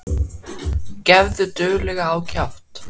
Gefðu duglega á kjaft.